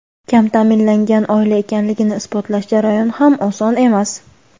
kam ta’minlangan oila ekanligini isbotlash jarayoni ham oson emas.